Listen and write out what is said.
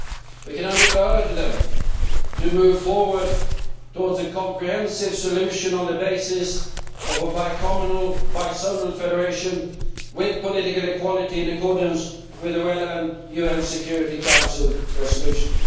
We can only urge them to move forward towards a comprehensive solution on the basis of a bi communal, bi zonal federation with political equality in accordance with the relevant UN Security Council resolutions.